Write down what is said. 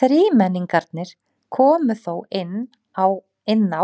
Þrímenningarnir komu þó inná